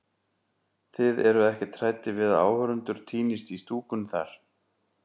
Þið eruð ekkert hræddir við að áhorfendur týnist í stúkunni þar?